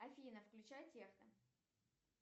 афина включай техно